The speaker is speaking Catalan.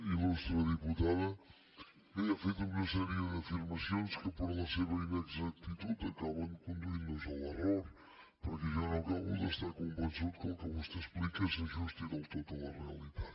il·lustre diputada bé ha fet una sèrie d’afirmacions que per la seva inexactitud acaben conduint nos a l’error perquè jo no acabo d’estar convençut que el que vostè explica s’ajusti del tot a la realitat